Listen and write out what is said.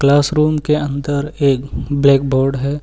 Classroom के अंदर एक ब्लैक बोर्ड है।